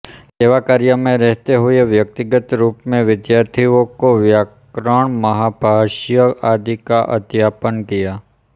सेवा कार्य में रहते हुए व्यक्तिगत रूप में विद्यार्थियों को व्याकरणमहाभाष्य आदि का अध्यापन किया